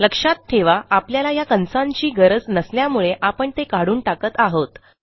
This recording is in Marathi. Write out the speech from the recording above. लक्षात ठेवा आपल्याला या कंसांची गरज नसल्यामुळे आपण ते काढून टाकत आहोत